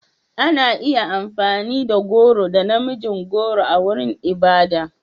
Ana iya amfani da goro da na mijin goro a wurin ibada.